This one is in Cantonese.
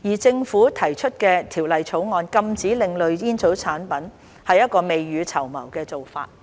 政府提出《條例草案》禁止另類吸煙產品是一個未雨綢繆的做法。